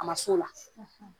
A ma s'o la .